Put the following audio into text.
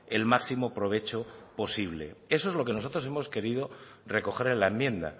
el máximo provecho posible eso es lo que nosotros hemos querido recoger en la enmienda